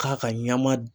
K'a ka ɲama